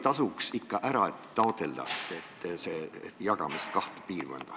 Kas meil ikkagi ei tasuks taotleda seda kaheks piirkonnaks jagamist?